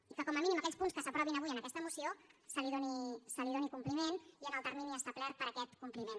i que com a mínim a aquells punts que s’aprovin avui en aquesta moció se’ls doni compliment i en el termini establert per a aquest compliment